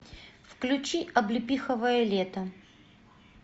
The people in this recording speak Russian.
включи облепиховое лето